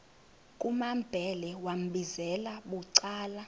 kumambhele wambizela bucala